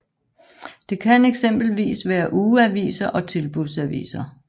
Det kan eksempelvis være ugeaviser og tilbudsaviser